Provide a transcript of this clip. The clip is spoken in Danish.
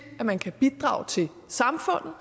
at man kan bidrage til samfundet